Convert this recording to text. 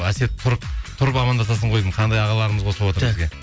әсет тұрып амандасасың ғой деймін қандай ағаларымыз қосылып отыр